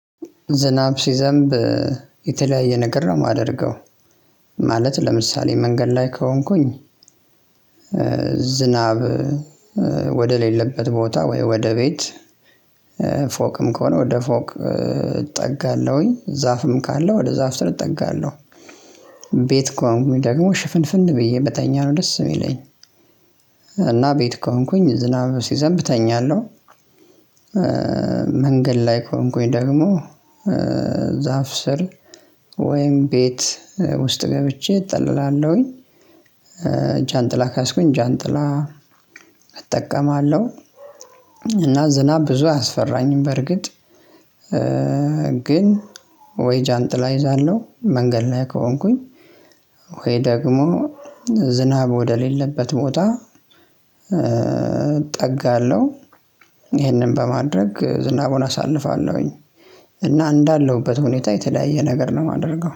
ዝናብ ሲዘንብ የተለያየ ነገር ነው የማደርገው። ማለት ለምሳሌ መንገድ ላይ ከሆንኩኝ ዝናብ ወደሌለበት ቦታ ወይ ወደ ቤት ከሆነ ወደ ፎቅ እጠጋለሁኝ ዛፍም ካለው ወደ ዛፍ ስር እጠጋለሁ። ቤት ከሆንኩኝ ደግሞ ሽፍንፍን ብዬ በተኛ ነው ደስ የሚለኝ እና ቤት ከሆንኩኝ ዝናብ ሲዘንብ እተኛለሁ። መንገድ ላይ ከሆንኩኝ ደግሞ ዛፍ ስር ወይም ቤት ውስጥ ገብቼ እጠልላለሁኝ። ጃንጥላ ከያዝኩኝ ጃንጥላ እጠቀማለሁ እና ዝናብ ብዙ አያስፈራኝም። በርግጥ ግን ወይ ጃንጥላ ይዛለሁ መንገድ ነው ከሆንኩኝ ወይ ደግሞ ዝናብ ወደሌለበት ቦታ እጠጋለሁ። ይህንን በማድረግ ዝናቡን አሳልፋለሁኝ እና እንዳለሁበት ሁኔታ የተለያየ ነገር ነው የማደርገው